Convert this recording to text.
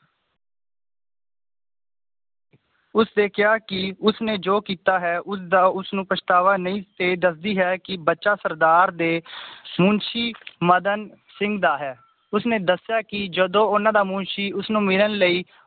ਉਸਨੇ ਕਿਹਾ ਕਿ ਉਸਨੇ ਜੋ ਕੀਤਾ ਹੈ ਉਸਦਾ ਉਸਨੂੰ ਪਛਤਾਵਾ ਨਈ ਤੇ ਦੱਸਦੀ ਹੈ ਕਿ ਬੱਚਾ ਸਰਦਾਰ ਦੇ ਮੁਨਸ਼ੀ ਮਦਨ ਸਿੰਘ ਦਾ ਹੈ ਉਸਨੇ ਦੱਸਿਆ ਕਿ ਜਦੋਂ ਉਹਨਾਂ ਦਾ ਮੁਨਸ਼ੀ ਉਸਨੂੰ ਮਿਲਣ ਲਈ